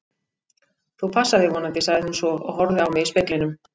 Þú passar þig vonandi, sagði hún svo og horfði á mig í speglinum.